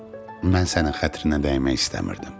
Mən sənin xətrinə dəymək istəmirdim.